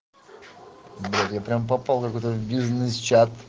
прямо попал в бизнесе